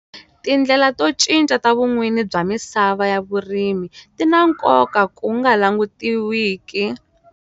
Tindlela to cinca ta vun'wini bya misava ya vurimi ti na nkoka ku nga langutiwiki.